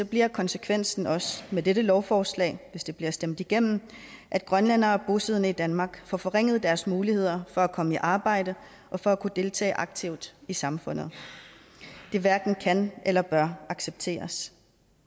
bliver konsekvensen også med dette lovforslag hvis det bliver stemt igennem at grønlændere bosiddende i danmark får forringet deres muligheder for at komme i arbejde og for at kunne deltage aktivt i samfundet det hverken kan eller bør accepteres